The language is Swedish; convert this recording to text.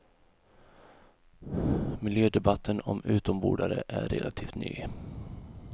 Miljödebatten om utombordare är relativt ny.